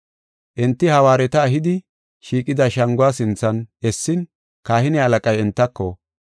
Enti hawaareta ehidi, shiiqida shanguwa sinthan essin kahine halaqay entako,